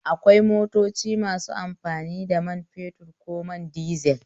Akwai motoci masu amfani da man fetur ko man dizel